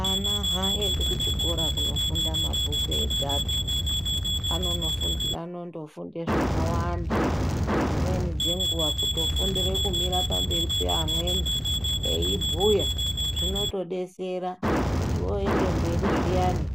Ana haaendi kuchikora kunofunde mabhuku egapi, anondofunde zvakawanda dzimweni dzenguwa kutofundire kumire pamberi peamweni eibhuya zvinotodetsera kuti oende mberi zviyani